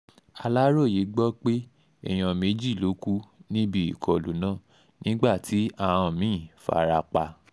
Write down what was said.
aláròye gbọ́ pé èèyàn méjì ló kù níbi ìkọlù náà nígbà tí àán àán mí-ín fara pa